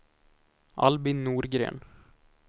Albin Norgren